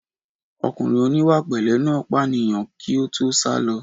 Ọkùnrin oníwàpẹ̀lẹ́ náà pànìyàn kí ó tó sálọ